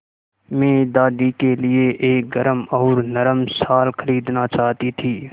मैं दादी के लिए एक गरम और नरम शाल खरीदना चाहती थी